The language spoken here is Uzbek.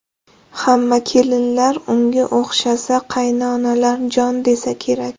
Hamma kelinlar unga o‘xshasa, qaynonalar jon desa kerak”.